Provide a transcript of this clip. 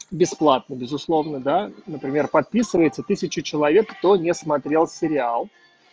бесплатно безусловно да например подписывается тысячу человек кто не смотрел сериал